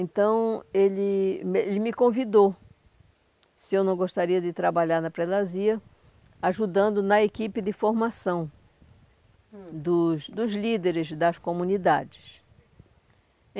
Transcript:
Então, ele me ele me convidou, se eu não gostaria de trabalhar na predazia, ajudando na equipe de formação, hum, dos dos líderes das comunidades.